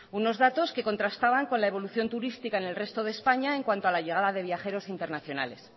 unos datos que contrastaban con la evolución turística en el resto de españa en cuanto a la llegada de viajeros internacionales